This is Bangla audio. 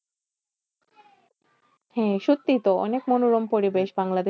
হ্যাঁ সত্যি তো অনেক মনোরম পরিবেশ বাংলাদেশ।